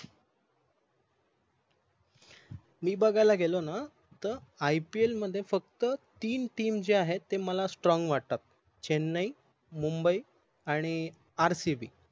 मी बघायला गेलो न त IPL मध्ये फक्त तीन TRAM जे आहेत ते मला strong वाटतात चेन्नई मुंबई आणि RCB